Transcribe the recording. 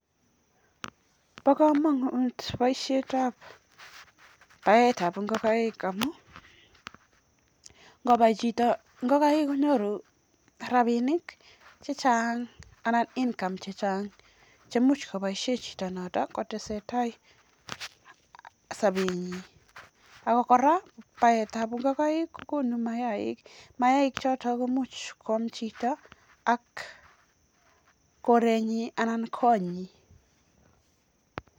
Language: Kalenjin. Bo komonut boisietab baetab ngokenik amun ngobai chito ngakaik konyoru rabinik chechang anan income chechang che much koboisien chito noto kotesentai sobenyin ak kora baetab ngokaik koguno mayaaik. Mayaaik choto komuch koam chito ak korenyi anan ko konyin.